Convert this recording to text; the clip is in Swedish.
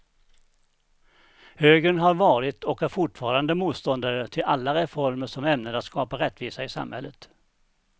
Högern har varit och är fortfarande motståndare till alla reformer som är ämnade att skapa rättvisa i samhället.